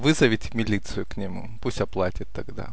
вызовите милицию к нему пусть оплатит тогда